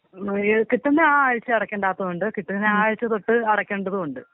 കിട്ടുന്ന ആ ആഴ്ച അടക്കേണ്ടാത്തതുണ്ട് കിട്ടുന്ന ആ അയച്ച തൊട്ട് അടക്കേണ്ടതുണ്ട്.